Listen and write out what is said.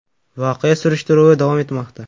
Voqea surishtiruvi davom etmoqda.